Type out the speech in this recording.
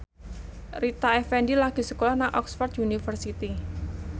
Rita Effendy lagi sekolah nang Oxford university